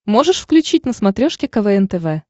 можешь включить на смотрешке квн тв